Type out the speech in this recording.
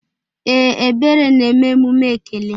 Ee, Ebere na-eme emume ekele.